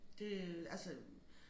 Det øh altså